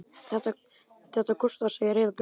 Þetta kostar, segir Heiða Björg.